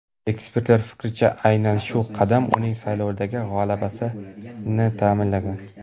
Ekspertlar fikricha, aynan shu qadam uning saylovlardagi g‘alabasini ta’minlagan.